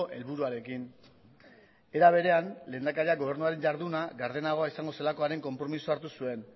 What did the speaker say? helburuarekin era berean lehendakaria gobernuaren jarduna gardenago izango zelakoaren konpromezua hartu zuen